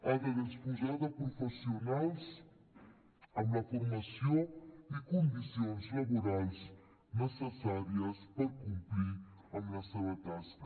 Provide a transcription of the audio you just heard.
ha de disposar de professionals amb la formació i condicions laborals necessàries per complir amb la seva tasca